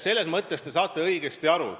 Selles mõttes saate te õigesti aru.